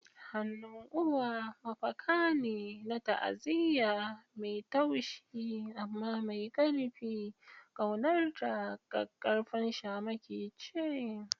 Hannun uwa mafaka ne na ta'aziyya, mai taushi amma mai ƙarfi, ƙaunarta ƙaƙƙarfan shamaki ce.